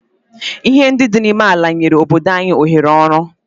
Ihe ndị dị n'ime ala nyere obodo anyị ohere ọrụ?